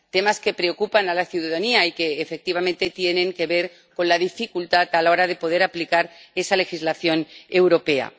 Temas que preocupan a la ciudadanía y que efectivamente tienen que ver con la dificultad a la hora de poder aplicar esa legislación europea.